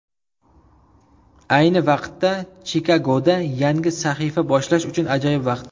Ayni vaqtda Chikagoda yangi sahifa boshlash uchun ajoyib vaqt.